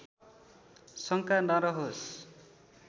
शङ्का नरहोस्